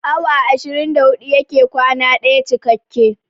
Awa ashirin da huɗu yake kwana ɗaya cikakke